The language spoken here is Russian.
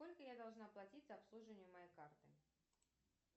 сколько я должна платить за обслуживание моей карты